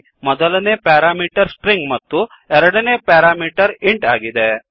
ಇಲ್ಲಿ ಮೊದಲನೇ ಪ್ಯಾರಾಮೀಟರ್stringಸ್ಟ್ರಿಂಗ್ ಮತ್ತು ಎರಡನೇ ಪ್ಯಾರಾಮೀಟರ್ ಇಂಟ್ ಇಂಟ್ ಆಗಿದೆ